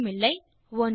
ஒன்றுமில்லை